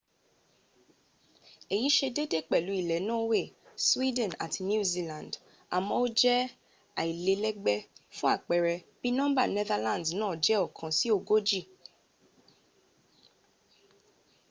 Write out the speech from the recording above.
èyí sẹ déédéé pẹ̀lú ilẹ̀ norway sweden àti new zealand àmó ó jẹ́ alílẹ́gbé fún àpẹẹrẹ bí nọ́mbà netherlands nàa jé ọkan sí ọgójì